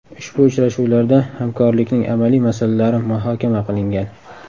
Ushbu uchrashuvlarda hamkorlikning amaliy masalalari muhokama qilingan.